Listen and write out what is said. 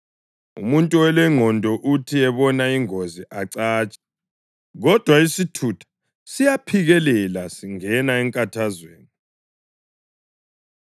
Umuntu olengqondo uthi ebona ingozi acatshe, kodwa isithutha siyaphikelela singena enkathazweni.